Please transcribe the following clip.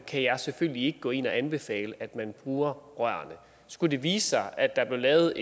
kan jeg selvfølgelig ikke gå ind og anbefale at man bruger rørene skulle det vise sig at der blev lavet